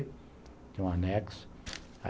Tinha um anexo.